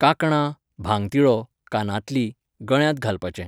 कांकणां, भांगतिळो, कानांतलीं, गळ्यांत घालपाचें.